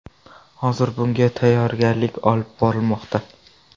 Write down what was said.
Hozir bunga tayyorgarlik olib borilmoqda.